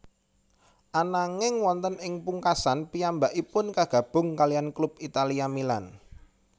Ananging wonten ing pungkasan piyambakipu kagabung kaliyan klub Italia Milan